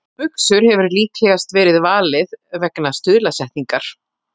Buxur hefur líklegast verið valið vegna stuðlasetningar.